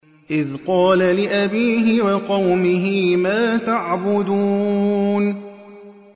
إِذْ قَالَ لِأَبِيهِ وَقَوْمِهِ مَا تَعْبُدُونَ